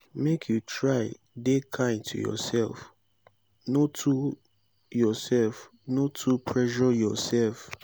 make you try dey kind to youself no too youself no too pressure yoursef.